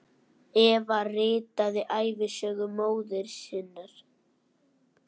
Eva ritaði ævisögu móður sinnar.